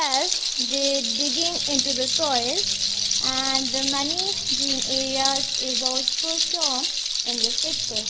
is they digging into the soil and the money green areas is also shown in this picture.